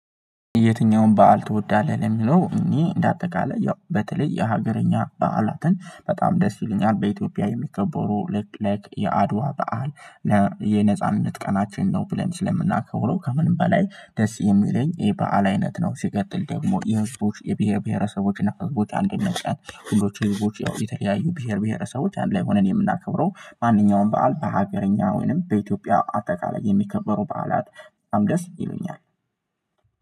የትኛውን በዓል ትወዳለህ? ለሚለው እኔ እንደ አጠቃላይ ያው በተለይ የሀገረኛ በዓላትን በጣም ደስ ይለኛል በኢትዮጵያ የሚከበሩ ልክ ላይክ የአድዋ በዓል የነጻነት ቀናችን ነው ብለን ስለምናከብረው ከምንም በላይ ደስ የሚለኝ የበአል አይነት ነው። ሲቀጥል ደግሞ የህዝቦች የብሄር ብሄረሰቦችን እና ህዝቦች አንድነት ቀን ሁሎችም ህዝቦች የተለያዩ ብሄር ብሄረሰቦች አንድ ላይ ሆነን የምናከብረው ማንኛውም በዓል በሀገረኛ ወይንም በኢትዮጵያ አጠቃላይ የሚከበሩ በዓላት በጣም ደስ ይሉኛል